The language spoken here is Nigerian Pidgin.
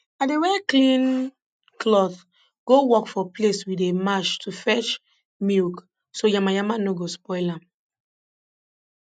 i dey wear clean cloth go work for place we dey march to fetch milk so yamayama nor go spoil am